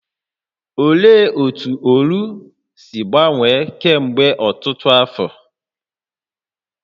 Olee otú Oru si gbanwee kemgbe ọtụtụ afọ?